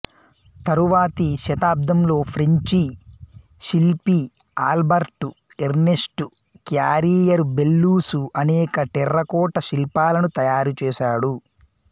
తరువాతి శతాబ్దంలో ఫ్రెంచి శిల్పి ఆల్బర్టుఎర్నెస్టు క్యారియరుబెల్లూసు అనేక టెర్రకోట శిల్పాలను తయారుచేశాడు